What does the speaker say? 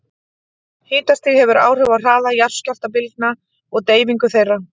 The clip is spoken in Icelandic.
Hitastig hefur áhrif á hraða jarðskjálftabylgna og deyfingu þeirra.